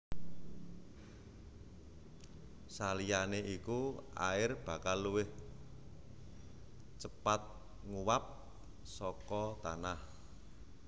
Saliyané iku air bakal luwih cepat nguwap saka tanah